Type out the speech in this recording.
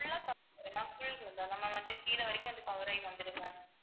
full cov~ ma'am நம்ம வந்து கீழே வரைக்கும் அது cover ஆயி வந்துரும் ma'am